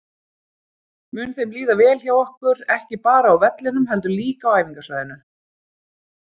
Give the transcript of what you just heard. Mun þeim líða vel hjá okkur, ekki bara á vellinum heldur líka á æfingasvæðinu?